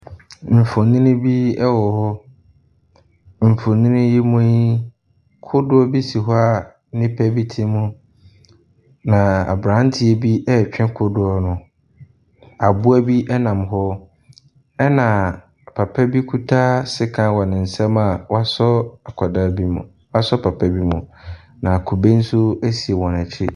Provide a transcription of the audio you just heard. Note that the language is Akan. Mfonini bi ɛwɔ hɔ. Mfonini yi mu y, kodoɔ ɛsoi hɔ a nnipa bite mu na aberanteɛ bi ɛɛtwe kodoɔ no. Aboa nam hɔ ɛna papa bi kuta sekan wɔ ne nsɛm wasɔ papa bi mu. Na kube nso ɛsi wɔn akyi.